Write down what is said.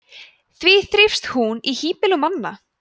því þrífst hún í hýbýlum manna